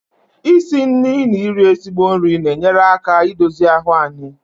isi nri na iri ezigbo nri na-enyere aka i dozi ahụ anyị